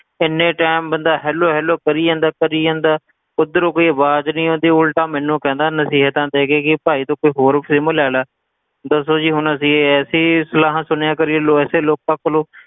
ਕਿੰਨੇ time ਬੰਦਾ hello hello ਕਰੀ ਜਾਂਦਾ ਕਰੀ ਜਾਂਦਾ, ਉਧਰੋਂ ਕੋਈ ਅਵਾਜ ਨੀ ਆਉਂਦੀ ਉਲਟਾ ਮੈਨੂੰ ਕਹਿੰਦਾ ਨਸੀਹਤਾਂ ਦੇ ਕੇ ਕਿ ਭਾਈ ਤੂੰ ਕੋਈ ਹੋਰ sim ਲੈ ਲਾ, ਦੱਸੋ ਜੀ ਹੁਣ ਅਸੀਂ ਅਸੀਂ ਸਲਾਹਾਂ ਸੁਣਿਆ ਕਰੀਏ ਲੋ~ ਐਸੇ ਲੋਕਾਂ ਕੋਲੋਂ